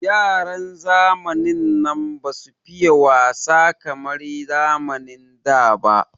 Yaran zamanin nan basu fiye wasa kamar yaran zamanin da ba.